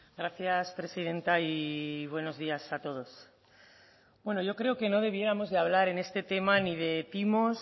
gracias presidenta y buenos días a todos bueno yo creo que no debiéramos de hablar en este tema ni de timos